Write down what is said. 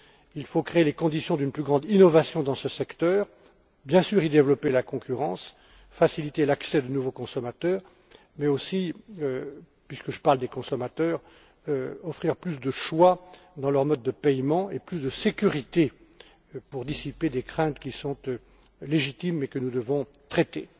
Il faut créer les conditions d'une plus grande innovation dans ce secteur, bien sûr y développer la concurrence, faciliter l'accès de nouveaux consommateurs, mais aussi puisque je parle des consommateurs offrir plus de choix dans leurs modes de paiement et plus de sécurité, pour dissiper des craintes qui sont légitimes et que nous devons traiter.